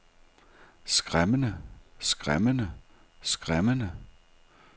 skræmmende skræmmende skræmmende